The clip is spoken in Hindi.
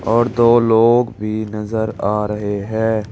और दो लोग भी नजर आ रहे है।